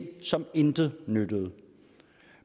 som intet nyttede